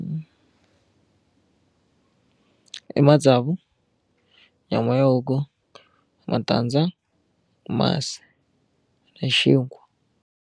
I matsavu nyama ya huku matandza masi na xinkwa.